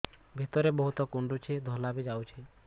ଭିତରେ ବହୁତ କୁଣ୍ଡୁଚି ଧଳା ବି ଯାଉଛି